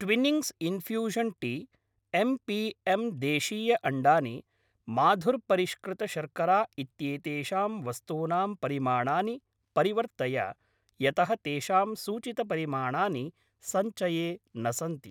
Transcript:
Twinings infusion tea, M P M देशीयअण्डानि माधुर्परिष्कृतशर्करा इत्येतेषां वस्तूनां परिमाणानि परिवर्तय यतः तेषां सूचितपरिमाणानि सञ्चये न सन्ति।